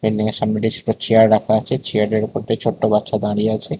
উপর চেয়ার রাখা আছে চেয়ারের উপর একটি ছোট্ট বাচ্চা দাঁড়িয়ে আছে।